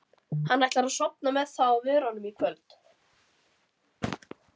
Hann ætlar að sofna með það á vörunum í kvöld.